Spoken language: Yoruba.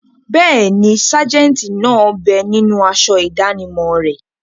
Bẹ́ẹ̀ni, sájẹ̀ntì náà bẹ ninú aṣọ ìdánimọ̀ rẹ̀